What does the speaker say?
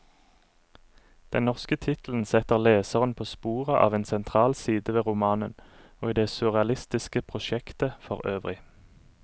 Den norske tittelen setter leseren på sporet av en sentral side ved romanen, og i det surrealistiske prosjektet forøvrig.